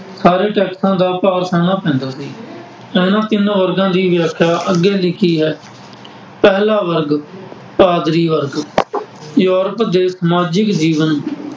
ਸਾਰੇ ਟੈਕਸਾਂ ਦਾ ਭਾਰ ਸਹਿਣਾ ਪੈਂਦਾ ਸੀ। ਇਹਨਾ ਤਿੰਨੇ ਵਰਗਾਂ ਦੀ ਵਿਆਖਿਆ ਅੱਗੇ ਲਿਖੀ ਹੈ। ਪਹਿਲਾ ਵਰਗ ਪਾਦਰੀ ਵਰਗ, ਯੂਰਪ ਦੇ ਸਮਾਜਿਕ ਜੀਵਨ